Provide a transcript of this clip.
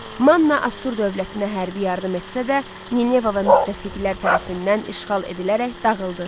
Manna Asur dövlətinə hərbi yardım etsə də, Nineva və müttəfiqlər tərəfindən işğal edilərək dağıldı.